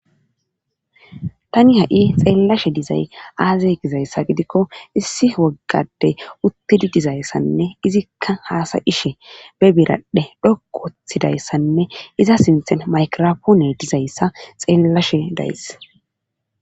tani ha7i xeellashe dizay aazay gizayssa gidikko issi woggadey uttidi dizayssanne izikka haasa7ishe be biraddhe dhoku wothidayssanne iza sinthen maykrapoune dizayssa xeellashe days